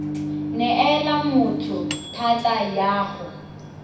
neela motho thata ya go